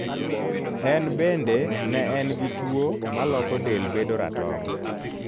En bende ne en gi tuo maloko del bedo ratong.